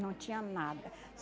Não tinha nada.